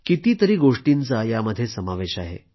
कितीतरी गोष्टींचा यामध्ये समावेश आहे